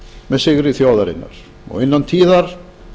með sigri þjóðarinnar innan tíðar